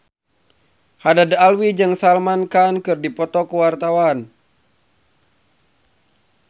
Haddad Alwi jeung Salman Khan keur dipoto ku wartawan